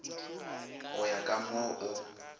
go ya ka mo o